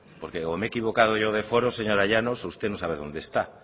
porque o me he equivocado yo de foros señora llanos o usted no sabe dónde está